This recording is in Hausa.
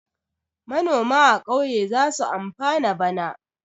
Manoma a ƙauye za su amfana bana.